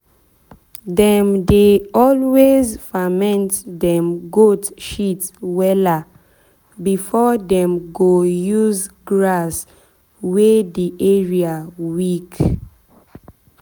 dem dey always ferment dem goat shit wella before dem go use grass wey the area weak.